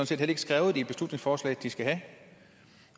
set heller ikke skrevet i beslutningsforslaget at de skal have